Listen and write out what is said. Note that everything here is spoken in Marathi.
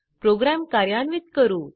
प्रोग्राम कार्यान्वित करू